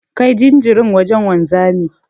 Kai jinjirin wajen wanzamin.